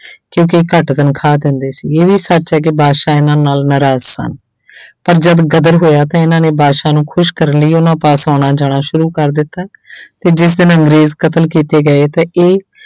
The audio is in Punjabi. ਕਿਉਂਕਿ ਇਹ ਘੱਟ ਤਨਖਾਹ ਦਿੰਦੇ ਸੀ ਇਹ ਵੀ ਸੱਚ ਹੈ ਕਿ ਬਾਦਸ਼ਾਹ ਇਹਨਾਂ ਨਾਲ ਨਾਰਾਜ਼ ਸਨ ਪਰ ਜਦ ਗਦਰ ਹੋਇਆ ਤਾਂ ਇਹਨਾਂ ਨੇ ਬਾਦਸ਼ਾਹ ਨੂੰ ਖ਼ੁਸ਼ ਕਰਨ ਲਈ ਉਹਨਾਂ ਪਾਸ ਆਉਣਾ ਜਾਣਾ ਸ਼ੁਰੂ ਕਰ ਦਿੱਤਾ ਤੇ ਜਿਸ ਦਿਨ ਅੰਗਰੇਜ਼ ਕਤਲ ਕੀਤੇ ਗਏ ਤਾਂ ਇਹ